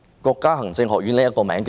國家行政學院是甚麼呢？